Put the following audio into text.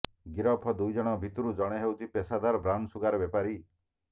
ଗିରଫ ଦୁଇ ଜଣଙ୍କ ଭିତରୁ ଜଣେ ହେଉଛି ପେଶାଦାର ବ୍ରାଉନସୁଗାର ବେପାରୀ